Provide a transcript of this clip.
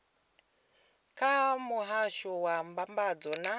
kha muhasho wa mbambadzo na